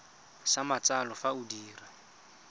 sa matsalo fa o dira